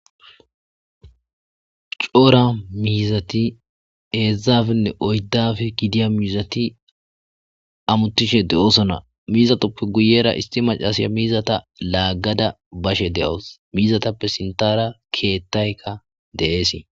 Coora miizati eedzzafenne oyddafi gidiya miizati amutishe de7osona miizatoppe guyera isti macasiya miizata laaggada bashe de7os miizatappe sintara keettaykka deeesii.